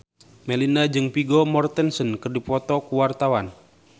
Melinda jeung Vigo Mortensen keur dipoto ku wartawan